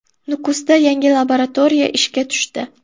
Nukusda yangi laboratoriya ishga tushdi.